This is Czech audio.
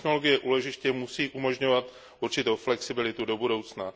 Technologie úložiště musí umožňovat určitou flexibilitu do budoucna.